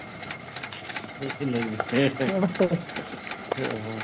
ਦੂਸਰੇ ਦੀ ਜਨਾਨੀ ਕਿਆ ਬਾਤ ਆ